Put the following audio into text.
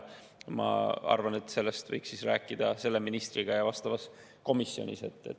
Ma arvan, et sellest võiks rääkida selle ministriga ja vastavas komisjonis.